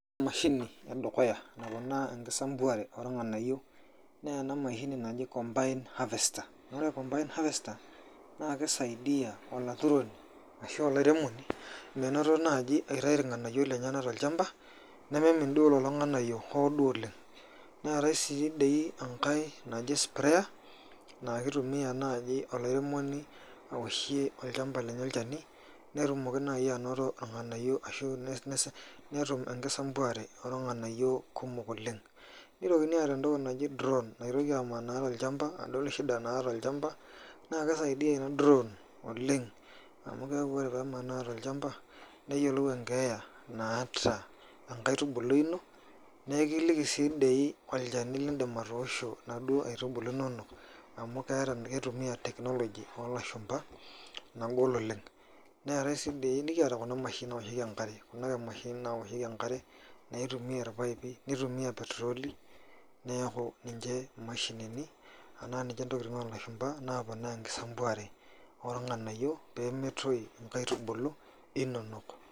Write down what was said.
Emashini edukuya naponaa enkisampuare oo olng`anayio naa ena mashini naji combined harvester. Ore combined harvester naa kisaidia olaturoni ashu olairemoni menoto naaji aitayu ilng`anayio lenyenak tolchamba nemeimin duo lelo ng`anayio hoo duo oleng. Neetae sii dii enkae naji sprayer naa kitumia naaji olairemoni awoshie olchamba lenye olchani netumoki naaji anoto ilng`anayio ashu netum enkisampuare oo olng`anayio kumok oleng. Neitokini aata entoki naji drown naitoki amanaa tolchamba adol shida naata olchamba. Naa keisaidia ina drawn oleng. Amu keeku ore pee emanaa tolchamba neyiolou enkeeya naata enkaitubului ino. Naa ekiliki sii dei olchani lidim atoosho inaduo aitubulu inonok, amu kitumia teknoloji oo lashumpa nagol oleng. Neetae sii diii nikiata kuna mashinini naoshieki enkare, kuna mashinini nawoshieki enkare, kuna ake mashinini naitumia irpaipi, nitumia petroli. Niaku ninche mashinini enaa ninche ntokitin oo lashumpa naponaa enkisampuare oo ilng`anayio pee metoyu nkaitubulu inonok.